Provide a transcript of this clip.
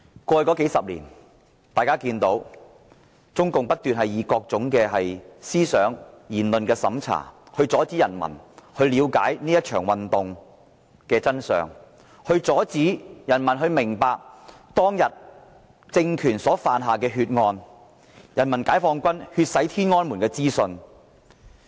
過去20多年，中共不斷以各種思想、言論審查，阻止人民了解這場運動的真相，阻止人民明白當天政權犯下的血案，封鎖人民解放軍血洗天安門的資訊。